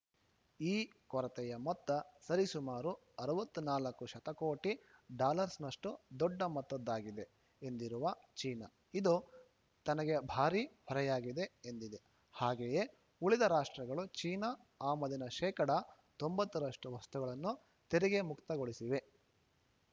ಈ ಕೊರತೆಯ ಮೊತ್ತ ಸರಿಸುಮಾರು ಅರವತ್ತ್ ನಾಲ್ಕು ಶತಕೋಟಿ ಡಾಲಱ್ಸ್‌ನಷ್ಟು ದೊಡ್ಡ ಮೊತ್ತದ್ದಾಗಿದೆ ಎಂದಿರುವ ಚೀನಾ ಇದು ತನಗೆ ಭಾರಿ ಹೊರೆಯಾಗಿದೆ ಎಂದಿದೆ ಹಾಗೆಯೇ ಉಳಿದ ರಾಷ್ಟ್ರಗಳು ಚೀನಾ ಆಮದಿನ ಶೇಕಡಾ ತೊಂಬತ್ತ ರಷ್ಟು ವಸ್ತುಗಳನ್ನು ತೆರಿಗೆ ಮುಕ್ತಗೊಳಿಸಿವೆ